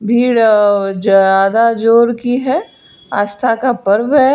भीड़ ज्यादा जोर की है आस्था का पर्व है।